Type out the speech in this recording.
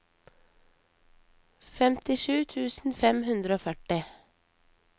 femtisju tusen fem hundre og førti